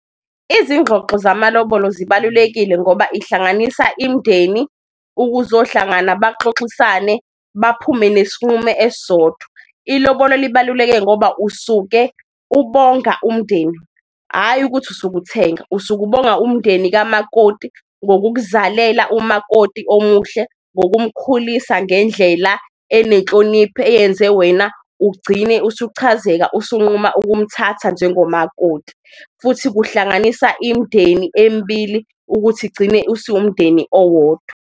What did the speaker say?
Izingxoxo zamalobolo zibalulekile ngoba ihlanganisa imndeni ukuzohlangana baxoxisane, baphume nesinqumo esisodwa. Ilobolo libaluleke ngoba usuke ubonga umndeni ayi ukuthi usuke uthenga, usuke ubonga umndeni kamakoti ngokukuzalela umakoti omuhle, ngokumkhulisa ngendlela enenhlonipho eyenze wena ugcine usuchazeleka usunquma ukumthatha njengomakoti. Futhi kuhlanganisa imndeni emibili ukuthi igcine usuwumndeni owodwa.